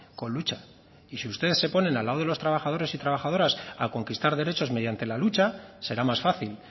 con lucha y si ustedes se ponen al lado de los trabajadores y trabajadoras a conquistar derechos mediante la lucha será más fácil